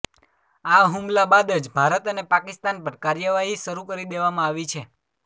આ હુમલા બાદ જ ભારત અને પાકિસ્તાન પર કાર્યવાહી શરૂ કરી દેવામાં આવી છે